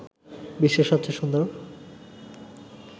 বিশ্বের সবচেয়ে সুন্দর